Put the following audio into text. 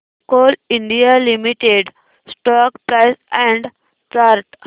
Coal India limited stock price and chart